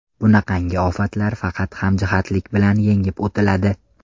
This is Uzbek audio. Bunaqangi ofatlar faqat hamjihatlik bilan yengib o‘tiladi.